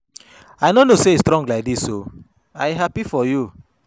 I no know say you strong like dis oo, I happy for you.